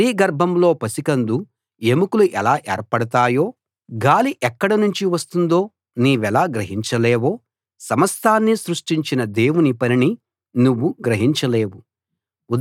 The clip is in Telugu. స్త్రీ గర్భంలో పసికందు ఎముకలు ఎలా ఏర్పడతాయో గాలి ఎక్కడ నుంచి వస్తుందో నీవెలా గ్రహించలేవో సమస్తాన్నీ సృష్టించిన దేవుని పనిని నువ్వు గ్రహించలేవు